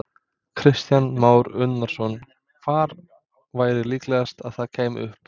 Kristján Már Unnarsson: Hvar væri líklegast að það kæmi upp?